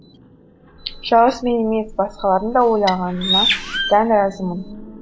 жалғыз мен емес басқалардың да ойланғанына дән разымын